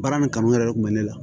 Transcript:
Baara nin kanu yɛrɛ de kun bɛ ne la